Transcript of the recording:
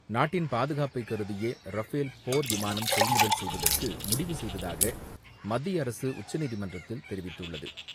நாட்டின் பாதுகாப்பை கருதியே ரஃபேல் போர் விமானம் கொள்முதல் செய்வதற்கு முடிவு செய்ததாக மத்திய அரசு உச்சநீதிமன்றத்தில் தெரிவித்துள்ளது.